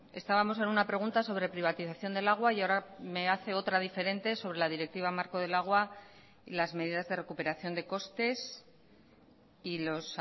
estábamos en una pregunta sobre privatización del agua y ahora me hace otra diferente sobre la directiva marco del agua y las medidas de recuperación de costes y los